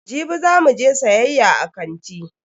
Jibi za mu je siyayya a kanti.